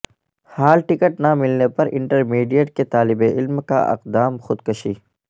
hall ticket نہ ملنے پر انٹرمیڈیٹ کے طالب علم کا اقدام خودکشی